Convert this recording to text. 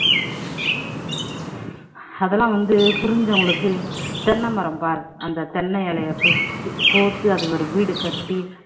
அதெல்லாம் வந்து புரிஞ்சவங்களுக்கு தென்னை மரம் பாரு அந்த தென்னை இலையை கோர்த்து அத ஒரு வீடு கட்டி